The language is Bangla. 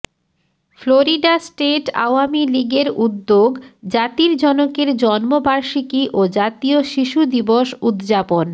ফ্লোরিডা ষ্টেট আওয়ামী লীগের উদ্যোগ জাতির জনকের জন্মবাষিকী ও জাতীয় শিশু দিবস উদযাপন